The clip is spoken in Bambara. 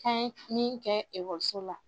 K'an ye min kɛ ekɔliso la